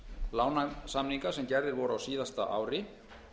lánasamninga sem gerðir voru á síðasta ári